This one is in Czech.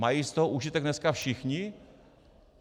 Mají z toho užitek dneska všichni?